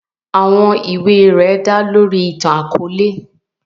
Àwọn iwe rẹ da lori itan-akọọlẹ.